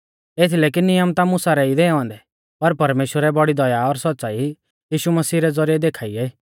एथीलै कि नियम ता मुसा रै ई दैऔ ऐन्दै पर परमेश्‍वरै बौड़ी दया और सौच़्च़ाई यीशु मसीह रै ज़ौरिऐ देखा ई